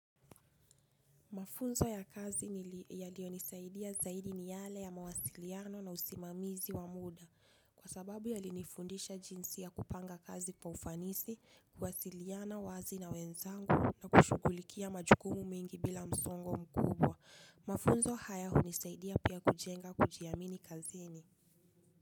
Mafunzo ya kazi yaliyo nisaidia zaidi ni yale ya mawasiliano na usimamizi wa muda kwa sababu yalinifundisha jinsi ya kupanga kazi kwa ufanisi, kuwasiliana, wazi na wenzangu na kushughulikia majukumu mengi bila msongo mkubwa mafunzo haya hunisaidia pia kujenga kujiamini kazini.